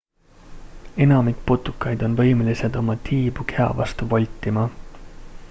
enamik putukaid on võimelised oma tiibu keha vastu voltima